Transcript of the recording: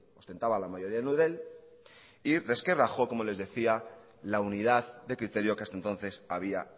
ostentaba la mayoría en eudel y resquebrajó como les decía la unidad de criterio que hasta entonces había